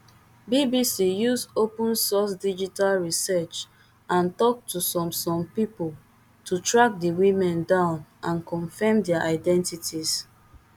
bbc use open source digital research and talk to some some people to track di women down and confirm dia identities